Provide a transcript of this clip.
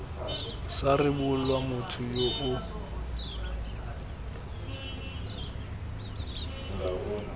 sa rebolwa motho yo o